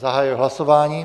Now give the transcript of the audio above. Zahajuji hlasování.